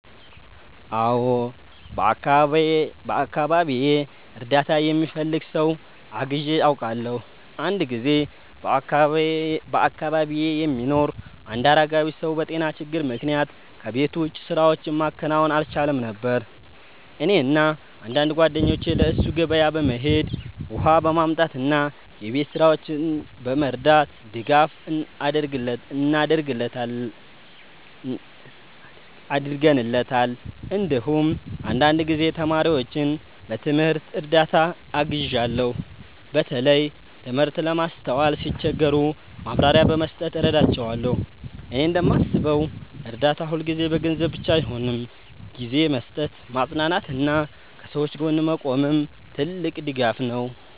አዎ፣ በአካባቢዬ እርዳታ የሚፈልግ ሰው አግዤ አውቃለሁ። አንድ ጊዜ በአካባቢዬ የሚኖር አንድ አረጋዊ ሰው በጤና ችግር ምክንያት ከቤት ውጭ ስራዎችን ማከናወን አልቻለም ነበር። እኔና አንዳንድ ጓደኞቼ ለእሱ ገበያ በመሄድ፣ ውሃ በማምጣት እና የቤት ስራዎችን በመርዳት ድጋፍ አድርገንለታል። እንዲሁም አንዳንድ ጊዜ ተማሪዎችን በትምህርት እርዳታ አግዣለሁ፣ በተለይ ትምህርት ለማስተዋል ሲቸገሩ ማብራሪያ በመስጠት እረዳቸዋለሁ። እኔ እንደማስበው እርዳታ ሁልጊዜ በገንዘብ ብቻ አይሆንም፤ ጊዜ መስጠት፣ ማጽናናት እና ከሰዎች ጎን መቆምም ትልቅ ድጋፍ ነው።